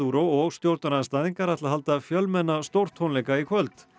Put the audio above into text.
og stjórnarandstæðingar ætla að halda fjölmenna stórtónleika í kvöld